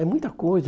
É muita coisa.